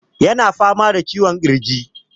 Yana fama da ciwon ƙirji.